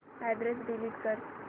address delete कर